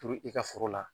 Turu i ka foro la